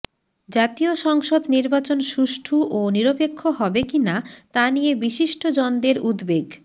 জাতীয় সংসদ নির্বাচন সুষ্ঠু ও নিরপেক্ষ হবে কিনা তা নিয়ে বিশিষ্ট জনদের উদ্বেগ